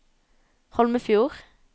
Holmefjord